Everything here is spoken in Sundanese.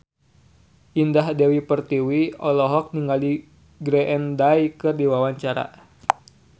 Indah Dewi Pertiwi olohok ningali Green Day keur diwawancara